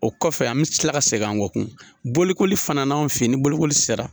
O kɔfɛ an bi kila ka segin an kɔ kun bolokoli fana ni bolokoli sera